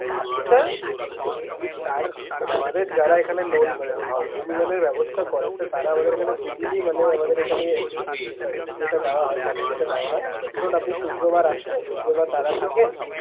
আপনি sir একটি তার, মানে আমাদের যারা এখানে loan মানে home loan এর ব্যবস্থা করে তো তারা আমাদের এখানে দুদিনই মানে আমাদের এখানে ওই ইয়েটা দেওয়া হয় service টা দেওয়া হয়। আপনি শুক্রবার আসলে শুক্রবার তারা থাকেন।